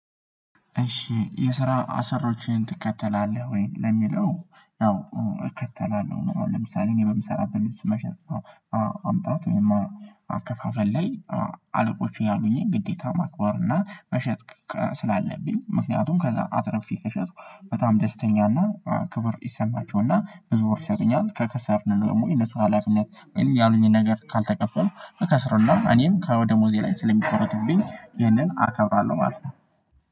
እሺ የስራ አሰሮችን ትከተላለህ ወይን ለሚለው ነው? እከተላለሁ ለምሳሌ እኔ በምሰራበት መሸጥ ማምጣት ወይም ማከፋፈል ላይ አለቆቹ ያሉኝን ግዴታ ማክበር እና መሸጥ ስላለብኝ ምክንያቱም ከዛ አትረፌ ከሸጥኩ በጣም ደስተኛ እና ክብር ይሰማቸው እና ብዙዎች ይሰጠኛል። ከከሰርነው ደግሞ የነሱ ሀላፊነት ያሉኝን ነገር ካልተቀበልኩ እከስር። እና እኔም ከወደ ሞዜ ላይ ስለሚቆረጥብኝ ይህንን አከብራለሁ ማለት ነው።